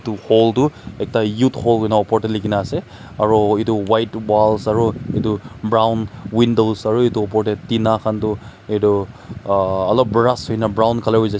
hall tu ekta youth hall koina uper teh likhi na ase aro etu white walls aro etu brown windows aru etu upor teh tina khan tu etu aa alop barash hoina brown colour hoi jaise.